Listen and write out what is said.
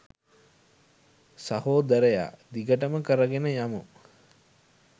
සහෝදරයා! දිගටම කරගෙන යමු!